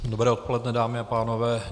Dobré odpoledne, dámy a pánové.